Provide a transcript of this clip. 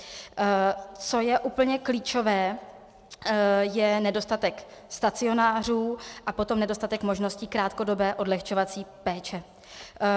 Co je úplně klíčové, je nedostatek stacionářů a potom nedostatek možností krátkodobé odlehčovací péče.